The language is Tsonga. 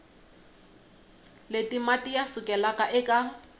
leti mati ya sukelaka eka